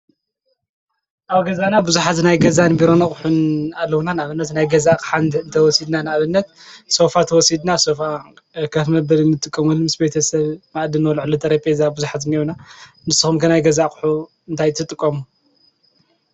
ኣብገዛና ብዙኃዝ ናይ ገዛን ቢሮነቕሕን ኣለዉና ናኣበነት ናይ ገዛእ ቕሓንድ እንተወሲድና ንእበነት ሶውፋ ተወሲድና ሰፍ ከፍመበልንትቀምሉ ምስ ቤተሰብ ማእድን ወልዕሉ ጠረጴዛ ብዙኃዝ ነዩና ንስሆም ከናይ ገዛእቕሑ እንታይትጥቆሙ።